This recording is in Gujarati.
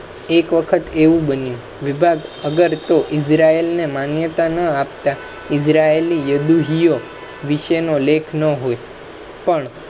એક વખત એવુ બન્યુ વિભાગ અગરતો Israel ને માન્યતા ના આપતા Isreal યદુહિનો વિષય નો લેખ ન હોય પણ